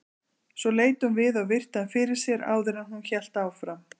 Svo leit hún við og virti hann fyrir sér áður en hún hélt áfram.